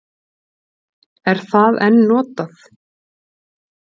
Er það enn notað?